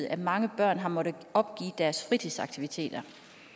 at mange børn har måttet opgive deres fritidsaktiviteter